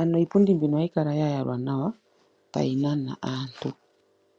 ano iipundi mbika ohayi kala ya yalwa nawa tayi nana aantu.